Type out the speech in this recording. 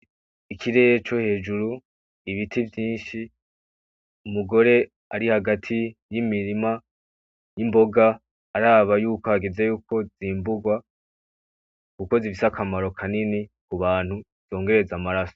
Ikirere co hejuru ibiti vyinshi umugore ari hagati y'imirima y'imboga araba yuko hageze yuko zimburwa gukoze igisa akamaro kanini ku bantu zongereza amaraso.